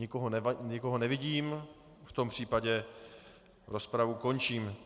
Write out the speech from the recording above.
Nikoho nevidím, v tom případě rozpravu končím.